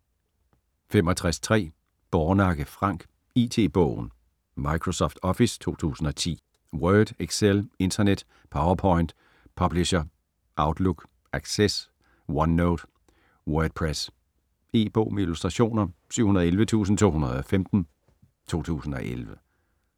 65.3 Bornakke, Frank: IT-bogen: Microsoft Office 2010 Word, Excel, Internet, PowerPoint, Publisher, Outlook, Access, OneNote, Wordpress. E-bog med illustrationer 711215 2011.